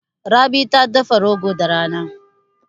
Rabi ta dafa rogo da rana.